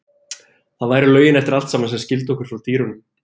Það væru lögin eftir allt saman sem skildu okkur frá dýrunum.